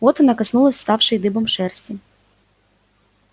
вот она коснулась вставшей дыбом шерсти